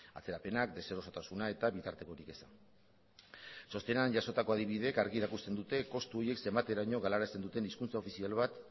atzerapenak deserotasuna eta bitartekorik eza txostenean jasotako adibideek argi erakusten dute kostu horiek zenbateraino galarazten duten hizkuntza ofizial bat